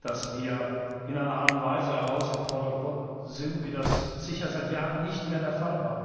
dass wir in einer Art und Weise herausgefordert sind, wie das sicher seit Jahren nicht mehr der Fall war.